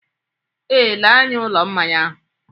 Ee, lee anya ụlọ mmanya ahụ